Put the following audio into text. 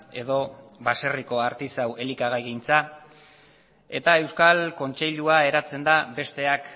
edo baserriko artisau elikagaigintza ea euskal kontseilua eratzen da besteak